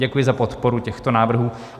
Děkuji za podporu těchto návrhů.